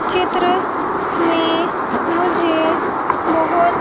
चित्र में मुझे बहुत--